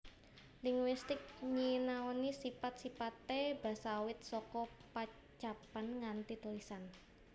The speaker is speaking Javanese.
Linguistik nyinaoni sipat sipate basa awit saka pocapan nganti tulisan